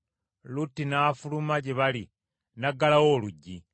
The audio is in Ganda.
Lutti n’afuluma gye bali, n’aggalawo oluggi,